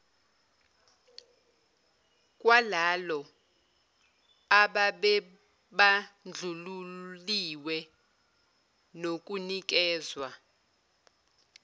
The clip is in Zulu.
kwalalo ababebandlululiwe nokunikezwa